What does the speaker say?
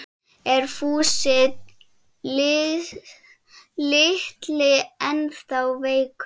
Er Fúsi litli ennþá veikur?